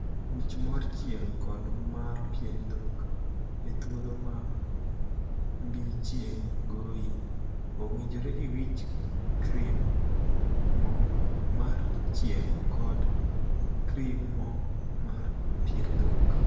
Wich mor chieng' kod mar pien dhok. E thuolo ma mbii chieng' goyi, owinjore iwich krim (moo) mar chieng' kod krim (moo) mar pien dhok.